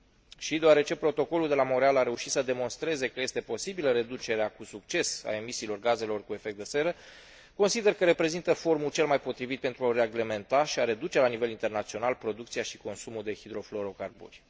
De asemenea, deoarece Protocolul de la Montreal a reușit să demonstreze că este posibilă reducerea cu succes a emisiilor gazelor cu efect de seră, consider că reprezintă forumul cel mai potrivit pentru a reglementa și a reduce la nivel internațional producția și consumul de hidrofluorocarburi.